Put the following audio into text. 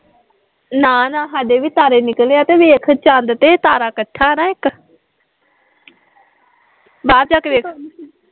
ਨਾ ਨਾ ਸਾਡੇ ਵੀ ਤਾਰੇ ਨਿਕਲੇ ਆ ਤੇ ਵੇਖ ਚੰਦ ਤੇ ਤਾਰਾ ਕੱਠਾ ਨਾ ਇੱਕ ਬਾਹਰ ਜਾ ਕੇ ਵੇਖ